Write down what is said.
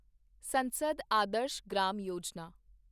ਸੰਸਦ ਆਦਰਸ਼ ਗ੍ਰਾਮ ਯੋਜਨਾ